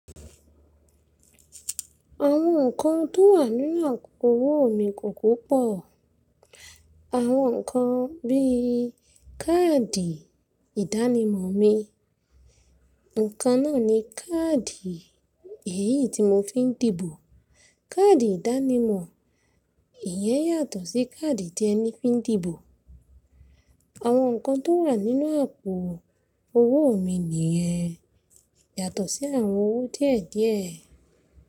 Àwọn nǹkan tó wà nínú àkókò owó mi kò kopọ̀. Àwọn nǹkan bíí káàdì ìdánimọ̀ mi, nǹkan náà ni káàdì èyí tí mo fi ń dìbò. Káàdì ìdánimọ̀, ìyẹn yàtọ̀ sí káàdì tí ẹni fi ń dìbò. Àwọn nǹkan tó wà nínú àpò owó mi nìyẹn, yàtọ̀ sí àwọn owó díẹ̀díẹ̀